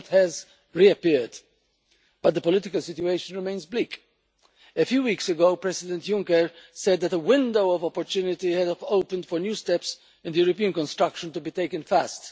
Growth has reappeared. But the political situation remains bleak. A few weeks ago, President Juncker said that the window of opportunity had opened for new steps in the European construction to be taken fast.